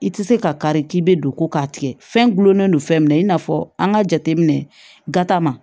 I tɛ se ka kari k'i bɛ don ko k'a tigɛ fɛn gulɔlen don fɛn min na i n'a fɔ an ka jateminɛ gata ma